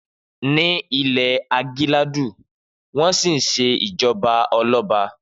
Ni ìlú ìgílàńdú, wọn si sẹ ìjọba ọlọbà